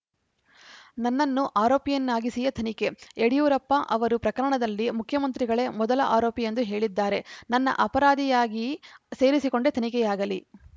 ನನ್ನನ್ನು ಆರೋಪಿಯನ್ನಾಗಿಸಿಯೇ ತನಿಖೆ ಯಡಿಯೂರಪ್ಪ ಅವರು ಪ್ರಕರಣದಲ್ಲಿ ಮುಖ್ಯಮಂತ್ರಿಗಳೇ ಮೊದಲ ಆರೋಪಿ ಎಂದು ಹೇಳಿದ್ದಾರೆ ನನ್ನ ಅಪರಾಧಿಯಾಗಿ ಸೇರಿಸಿಕೊಂಡೇ ತನಿಖೆಯಾಗಲಿ